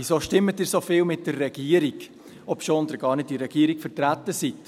Warum stimmt ihr so oft mit der Regierung, obwohl ihr gar nicht in der Regierung vertreten seid?